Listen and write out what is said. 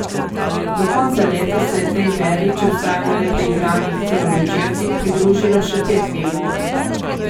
Do konca leta se je tej beri, če vztrajamo le pri igranih celovečercih, pridružilo še pet filmov.